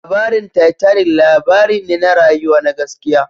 Labarin Titanic labari ne na rayuwa na gaskiya